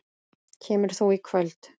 Kemur þú í kvöld?